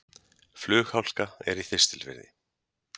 Flughálka er í Þistilfirði